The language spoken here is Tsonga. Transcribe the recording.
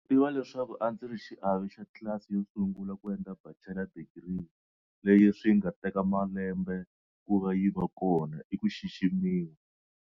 Ku tiva leswaku a ndzi ri xiave xa tlilasi yo sungula ku endla bachela digiri, leyi swi nga teka malambe ku va yi va kona i ku xiximiwa.